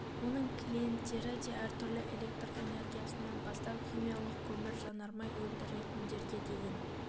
оның клиенттері де әртүрлі электр энергиясынан бастап химиялық көмір жанармай өндіретіндерге дейін